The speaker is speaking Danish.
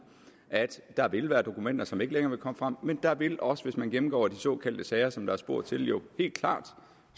at der vil være dokumenter som ikke længere vil komme frem men der vil også hvis man gennemgår de sager som der er spurgt til jo helt klart